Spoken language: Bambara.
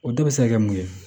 O de bɛ se ka kɛ mun ye